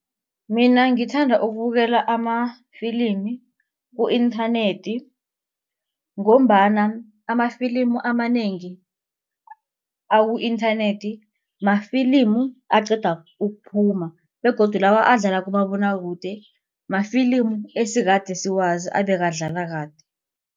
Mina ngithanda ukubukela amafilimi ku-internet ngombana amafilimu amanengi aku-internet mafilimu aqeda ukuphuma begodu lawa adlala kumabonwakude mafilimu esekade siwazi ebekade adlala kade.